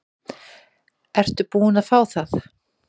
Ertu búin að fá það?